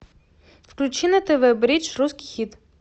включи на тв бридж русский хит